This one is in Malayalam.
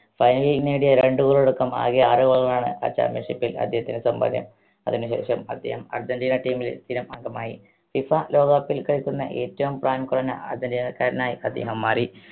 final ൽ നേടിയ രണ്ട് goal അടക്കം ആകെ ആറ് goal കളാണ് ആ championship ൽ അദ്ദേഹത്തിന് സമ്പാദ്യം അതിന് ശേഷം അദ്ദേഹം അർജന്റീന team ൽ സ്ഥിരം അംഗമായി FIFA ലോക cup ൽ കളിക്കുന്ന ഏറ്റവും പ്രായം കുറഞ്ഞ അർജന്റീനക്കാരനായി അദ്ദേഹം മാറി